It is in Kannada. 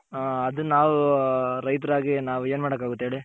ಹ ಅದು ನಾವ್ ರೈತ್ರಾಗಿ ನಾವು ಏನ್ ಮಾಡಕಾಗುತ್ತೆ ಹೇಳಿ.